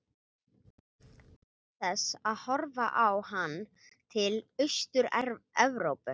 Til þess horfði hann til Austur-Evrópu.